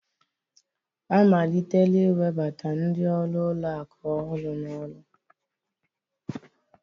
Amalitela iwebata ndị ọrụ ụlọ akụ ọhụrụ n'ọrụ